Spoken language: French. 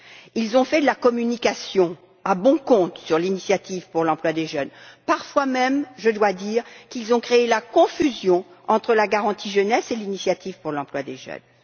Ils ont fait de la communication à bon compte sur l'initiative pour l'emploi des jeunes. Parfois même, je dois dire, ils ont créé la confusion entre la garantie jeunesse et l'initiative pour l'emploi des jeunes.